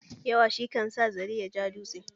Yawa shi kan sa zare ya ja dutse.